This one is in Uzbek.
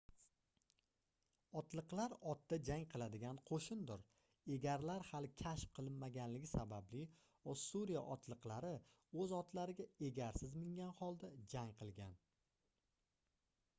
otliqlar otda jang qiladigan qoʻshindir egarlar hali kashf qilinmaganligi sababli ossuriya otliqlari oʻz otlariga egarsiz mingan holda jang qilgan